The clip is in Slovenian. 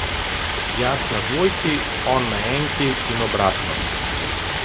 Jaz na dvojki, on na enki in obratno.